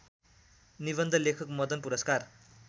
निवन्ध लेखक मदनपुरस्कार